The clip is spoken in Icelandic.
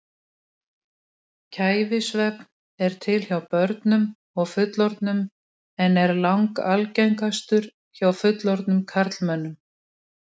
Kæfisvefn er til hjá börnum og fullorðnum en er langalgengastur hjá fullorðnum karlmönnum.